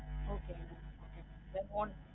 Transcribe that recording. Okay mam Okay mamthen want